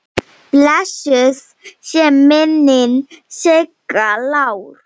Blessuð sé minning Sigga Lár.